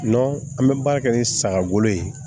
an bɛ baara kɛ ni saga bolo ye